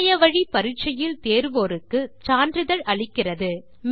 இணைய வழி பரிட்சையில் தேருவோருக்கு சான்றிதழ் அளிக்கிறது